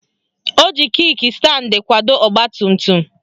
Ọ ji Kik standi kwado ọgbatumtum